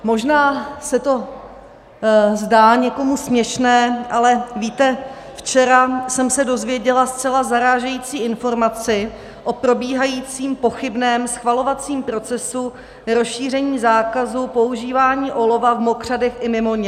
Možná se to zdá někomu směšné, ale víte, včera jsem se dozvěděla zcela zarážející informaci o probíhajícím pochybném schvalovacím procesu rozšíření zákazu používání olova v mokřadech i mimo ně.